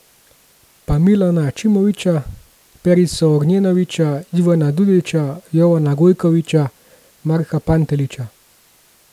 Pa Mileta Ačimovića, Perico Ognjenovića, Ivana Dudića, Jovana Gojkovića, Marka Pantelića...